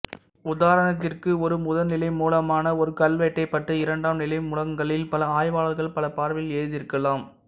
உதாரணத்திற்கு ஒரு முதனிலை மூலமான ஒரு கல்வெட்டைப் பற்றி இரண்டாம் நிலைமூலங்களில் பல ஆய்வாளர்கள் பல பார்வையில் எழுதியிருக்கலாம்